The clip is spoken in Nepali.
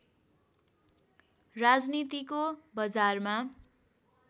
राजनीतिको बजारमा